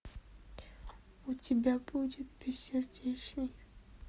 у тебя будет бессердечный